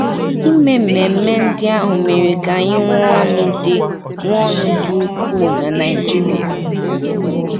Ime ememe ndị ahụ mere ka anyị nwee ọṅụ dị nwee ọṅụ dị ukwuu na Nigeria.